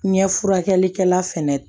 Ɲɛ furakɛlikɛla fɛnɛ